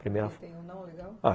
Tem um não legal?